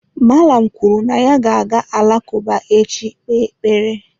Mallam kwuru na ya ga-aga alakụba echi ị kpee ekpere.